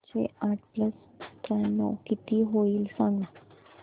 सातशे आठ प्लस त्र्याण्णव किती होईल सांगना